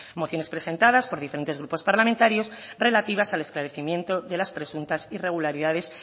mociones presentadas por diferentes grupos parlamentarios relativas al esclarecimiento de las presuntas irregularidades